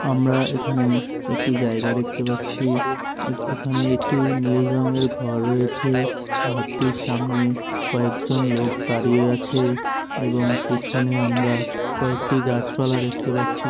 আমরা এখানে একটা জায়গা দেখতে পাচ্ছি । এখানে একটা নীল রঙের ঘর রয়েছে। ঘরটির সামনে কয়েকজন লোক দাঁড়িয়ে আছে। এবং পেছনে আমরা কয়েকটি গাছ পালা দেখতে পাচ্ছি।